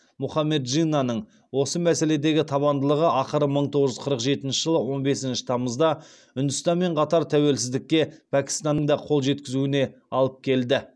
мұхаммед джиннаның осы мәселедегі табандылығы ақыры мың тоғыз жүз қырық жетінші жылы он бесінші тамызда үндістанмен қатар тәуелсіздікке пәкістанның да қол жеткізуіне алып келді